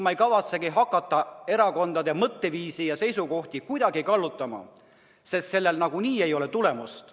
Ma ei kavatsegi hakata erakondade mõtteviisi ja seisukohti kuidagi kallutama, sellel nagunii ei ole tulemust.